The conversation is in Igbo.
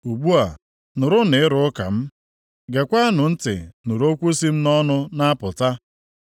Ugbu a, nụrụnụ ịrụ ụka m; geekwanụ ntị nụrụ okwu si m nʼọnụ na-apụta.